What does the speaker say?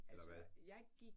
Eller hvad?